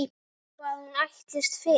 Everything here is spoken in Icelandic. Hvað hún ætlist fyrir.